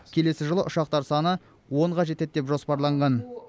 келесі жылы ұшақтар саны онға жетеді деп жоспарланған